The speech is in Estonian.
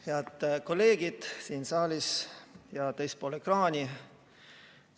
Head kolleegid siin saalis ja teispool ekraani!